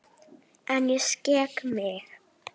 En ég skek mig.